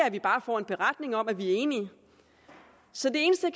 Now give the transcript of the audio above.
at vi bare får en beretning om at vi er enige så det eneste